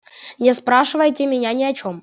не спрашивайте меня ни о чём